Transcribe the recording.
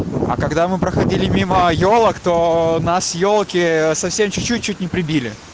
а когда мы проходили мимо ёлок то нас ёлки совсем чуть-чуть чуть не прибили